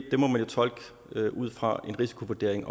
ud fra en risikovurdering